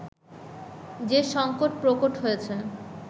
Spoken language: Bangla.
যে সংকট প্রকট হয়েছে